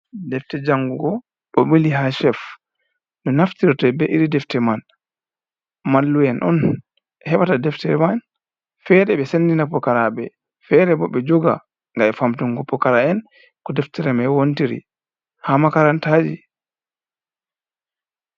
Defte jangugo ɗo ɓili ha chef.No naftirte be iri Defte man, mallu'en on heɓata Deftere man, fere ɓe Sendina Pukaraɓe Fere bo ɓe joga ngam Famtungo Pokara'en ko Deftere man wontiri ha Makarantaji.